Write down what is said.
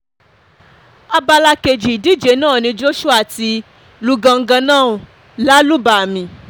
abala kejì ìdíje náà ni joshua ti lu gangannou lálùbàmì